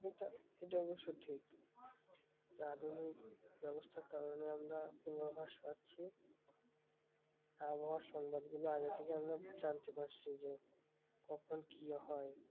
এটা এটা অবশ্য় ঠিক, তা আধুনিক ব্যবস্থার কারণে আমরা পূর্বাভাস পাচ্ছি আবহওয়ার সংবাদগুলো আগে থেকেই আমরা জানতে পারছি যে, কখন কি হয়?